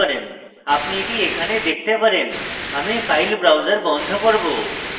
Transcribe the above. আপনি এটি এখানে দেখতে পারেন আমি file browser বন্ধ করব